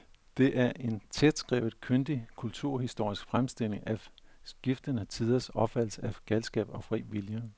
Det er en tætskrevet, kyndig kulturhistorisk fremstilling af skiftende tiders opfattelse af galskab og fri vilje.